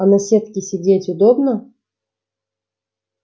а на сетке сидеть удобно